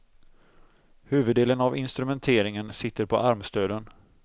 Huvuddelen av instrumenteringen sitter på armstöden.